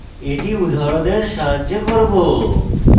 এটি উদাহরণের সাহায্যে করব